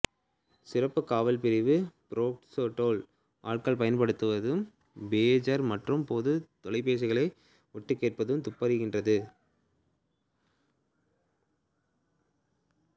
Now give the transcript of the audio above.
சிறப்புக் காவல் பிரிவு பார்க்ஸ்டேல் ஆட்கள் பயன்படுத்தும் பேஜர் மற்றும் பொதுத் தொலைபேசிகளை ஒட்டுக்கேட்டுத் துப்பறிகின்றது